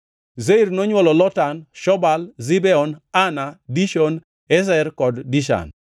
Seir nonywolo Lotan, Shobal, Zibeon, Ana, Dishon, Ezer kod Dishan.